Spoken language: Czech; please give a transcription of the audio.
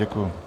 Děkuji.